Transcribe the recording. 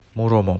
муромом